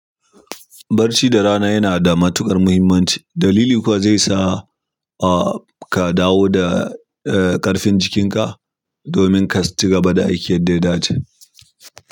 Barci da rana yana da matuƙar muhimmanci dalili kuwa zaisa ka dawo da ƙarfin jikika domin ka ci gaba da aiki yadda ya dace.